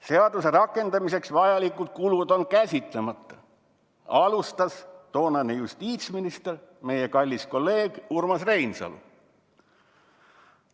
"Seaduse rakendamiseks vajalikud kulud on käsitlemata," alustas toonane justiitsminister, meie kallis kolleeg Urmas Reinsalu.